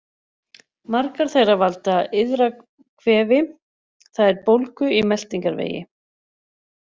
Margar þeirra valda iðrakvefi, það er bólgu í meltingarvegi.